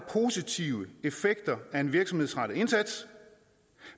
positive effekter af en virksomhedsrettet indsats